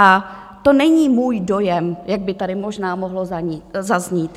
A to není můj dojem, jak by tady možná mohlo zaznít.